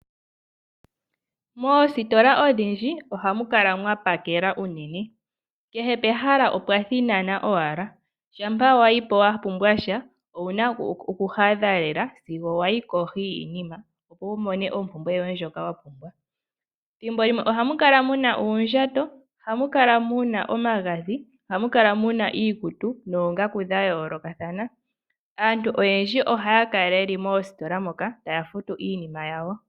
Moositola odhindji ohamu kala mwa pakela unene. Kehe pehala opwa thinana owala. Shampa wa yi po wa pumbwa sha owu na okuhadha lela sigo wa yi kohi yiinima, opo wu mone ompumbwe yoye ndjoka wa pumbwa. Thimbo limwe ohamu kala mu na uundjato, ohamu kala mu na omagadhi, ohamu kala mu na iikutu noongaku dha yoolokathana. Aantu oyendji ohaya kala ye li moositola moka, taya futu iinima yawo.